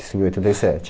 Isso em oitenta e sete.